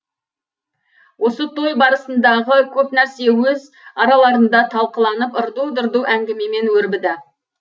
осы той барысындағы көп нәрсе өз араларында талқыланып ырду дырду әңгімемен өрбіді